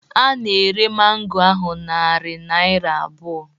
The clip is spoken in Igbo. A na-ere mango ahụ narị naira abụọ.